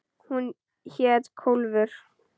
Hún hét Kólfur.